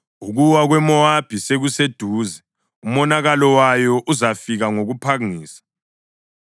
“Ukuwa kweMowabi sekuseduze; umonakalo wayo uzafika ngokuphangisa.